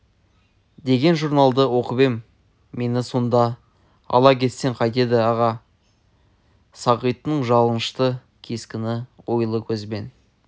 деген журналдан оқып ем мені сонда ала кетсең қайтеді аға асқар сағиттің жалынышты кескініне ойлы көзбен